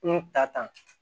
N ta tan